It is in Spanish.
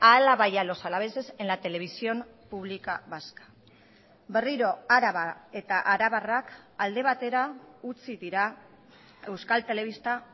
a álava y a los alaveses en la televisión pública vasca berriro araba eta arabarrak alde batera utzi dira euskal telebista